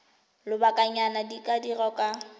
lobakanyana di ka dirwa kwa